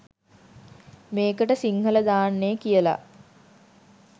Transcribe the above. මේකට සිංහල දාන්නේ කියලා